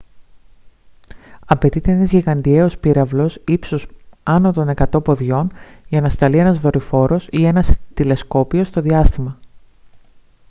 απαιτείται ένας γιγαντιαίος πύραυλος ύψους άνω των 100 ποδιών για να σταλθεί ένα δορυφόρος ή ένα τηλεσκόπιο στο διάστημα